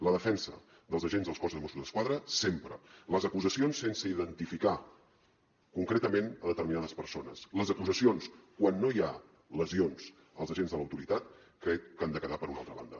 la defensa dels agents del cos de mossos d’esquadra sempre les acusacions sense identificar concretament determinades persones les acusacions quan no hi ha lesions als agents de l’autoritat crec que han de quedar per una altra banda